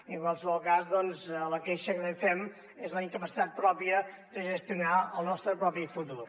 i en qualsevol cas la queixa que també fem és la incapacitat pròpia de gestionar el nostre propi futur